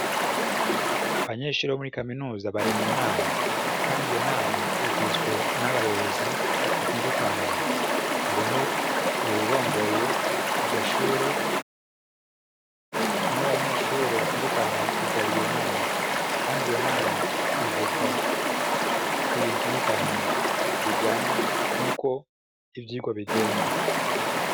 Abanyeshure bo muri kaminuza bari mu nama, kandi iyo nama igizwe n'abayobozi batandukanye, hariho uwurongoye iryo shure, n'abanyeshure batundukanye bitabira iyo nama, kandi iyo nama ivugwa ibintu bitandukanye bijanye n'uko ivyigwa bigenda.